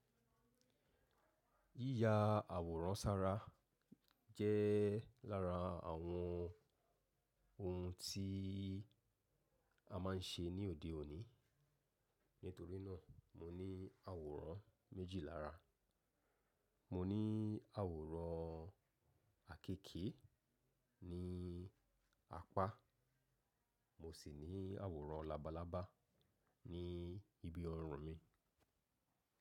Yíya àwòrán sára jẹ́ lára àwọn ohun tí a má ń ṣe ní òde òní. Nítorínà mo ní àwòrán méjì lára. Mo ní àwòrán àkekè ní apá, mo sì ní àwòrán labalábá ní ibi ọrùn mi.